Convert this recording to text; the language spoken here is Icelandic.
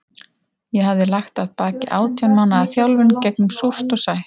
Ég hafði lagt að baki átján mánaða þjálfun gegnum súrt og sætt.